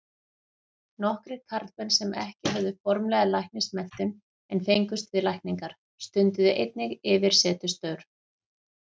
Nokkrir karlmenn sem ekki höfðu formlega læknismenntun en fengust við lækningar, stunduðu einnig yfirsetustörf.